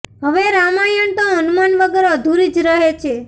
હવે રામાયણ તો હનુમાન વગર અધૂરી જ રહે છે